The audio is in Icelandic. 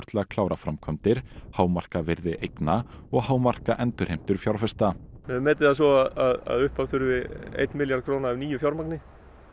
til að klára framkvæmdir hámarka virði eigna og hámarka endurheimtur fjárfesta við höfum metið það svo að upphaf þurfi einn milljarð króna af nýju fjármagni